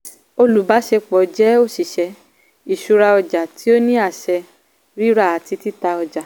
olùbáṣepọ̀ jẹ́ óṣìṣẹ́ ìṣúra ọjà tí ó ní àṣẹ rírà àti títà ọjà.